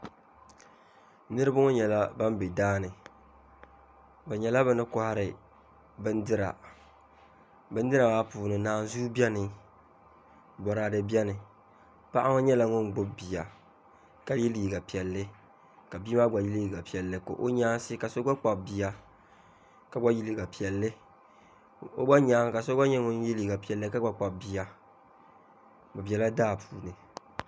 Niraba ŋo nyɛla ban bɛ daani bi nyɛla bi ni kohari bindira bindira maa puuni naanzuu biɛni boraadɛ biɛni paɣa ŋo nyɛla ŋun gbubi bia ka yɛ liiga piɛlli ka bia maa gba yɛ liiga piɛlli ka o nyaasi ka so gba kpabi bia ka gba yɛ liiga piɛlli o gba nyaanga so gba nyɛla ŋun yɛ liiga piɛlli ka gba kpabi bia o biɛla daa puuni